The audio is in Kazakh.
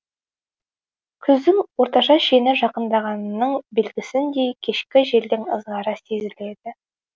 күздің орташа шені жақындағанының белгісіндей кешкі желдің ызғары сезіледі